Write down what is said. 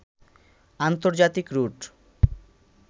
আন্তর্জাতিক রুট